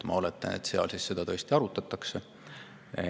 Ma oletan, et seal siis seda tõesti arutatakse.